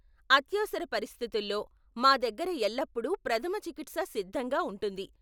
అత్యవసర పరిస్థితుల్లో, మా దగ్గర ఎల్లప్పుడూ ప్రథమ చికిత్స సిద్ధంగా ఉంటుంది.